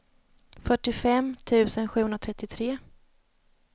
fyrtiofem tusen sjuhundratrettiotre